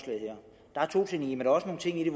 ting i det